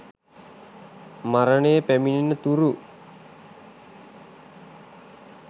මරණය පැමිණෙන තුරු